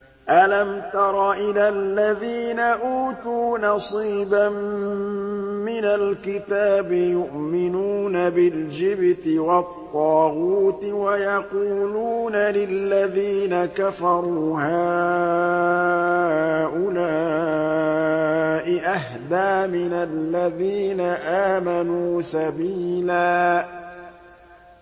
أَلَمْ تَرَ إِلَى الَّذِينَ أُوتُوا نَصِيبًا مِّنَ الْكِتَابِ يُؤْمِنُونَ بِالْجِبْتِ وَالطَّاغُوتِ وَيَقُولُونَ لِلَّذِينَ كَفَرُوا هَٰؤُلَاءِ أَهْدَىٰ مِنَ الَّذِينَ آمَنُوا سَبِيلًا